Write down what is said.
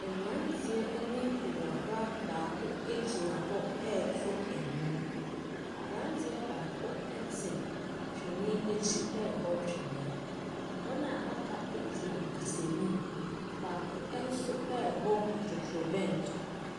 Mmrateɛ ɛne awraba baako gyina hɔ ɛɛtu nwom. Abranteɛ baako ɛte tweni akyi ɛɛbɔ tweni wɔn a waka egyina kasanim baako ɛnso ɛɛbɔ totronbɛnto.